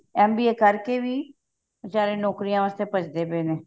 MBA ਕਰਕੇ ਵੀ ਸਾਰੇ ਨੋਕਰੀਆਂ ਵਾਸਤੇ ਭੱਜਦੇ ਪਏ ਨੇ